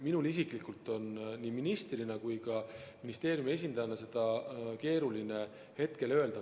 Minul isiklikult on nii ministrina kui ka ministeeriumi esindajana seda keeruline hetkel öelda.